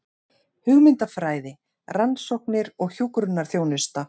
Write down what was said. Hugmyndafræði, rannsóknir og hjúkrunarþjónusta.